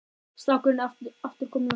Strákurinn er aftur kominn af stað.